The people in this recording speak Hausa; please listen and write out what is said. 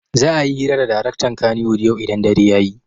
Za'a yi hira da daraktan kannywood yau idan dare ya yi.